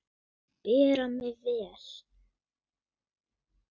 Bera mig vel?